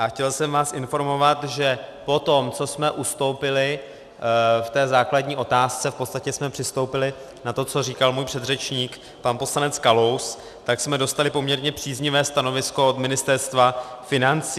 A chtěl jsem vás informovat, že potom, co jsme ustoupili v té základní otázce, v podstatě jsme přistoupili na to, co říkal můj předřečník pan poslanec Kalous, tak jsme dostali poměrně příznivé stanovisko od Ministerstva financí.